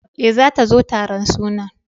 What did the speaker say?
E, zata zo taron sunan.